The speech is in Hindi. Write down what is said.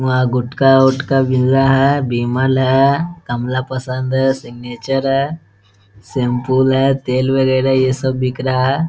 वहाँ गुटका उटका मील रहा है विमल है कमला पसंद है सिग्नेचर है शेंफू है तेल वगेरा ये सब बिक रहा है ।